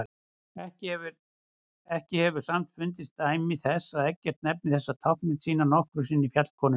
Ekki hefur samt fundist dæmi þess að Eggert nefni þessa táknmynd sína nokkru sinni fjallkonuna.